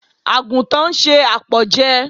Àgùntàn ń se àpọ̀jẹ.